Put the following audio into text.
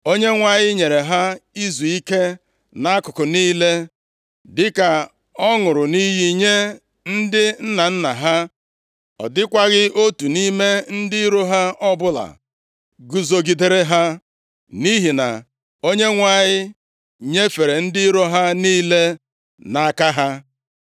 Onyenwe anyị nyere ha izuike nʼakụkụ niile, dịka ọ ṅụrụ nʼiyi nye ndị nna nna ha. Ọ dịkwaghị otu nʼime ndị iro ha ọbụla guzogidere ha, nʼihi na Onyenwe anyị nyefere ndị iro ha niile nʼaka ha.